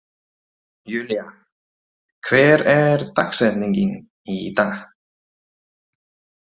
Julia, hver er dagsetningin í dag?